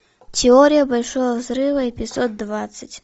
теория большого взрыва эпизод двадцать